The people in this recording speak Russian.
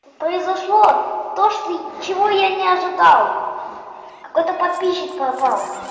произошло то что чего я не ожидал какой-то подписчик пропал